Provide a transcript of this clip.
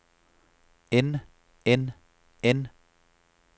end end end